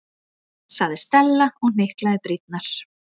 sagði Stella og hnyklaði brýnnar.